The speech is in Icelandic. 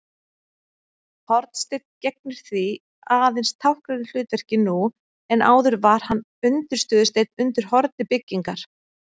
Hornsteinn gegnir því aðeins táknrænu hlutverki nú en áður var hann undirstöðusteinn undir horni byggingar.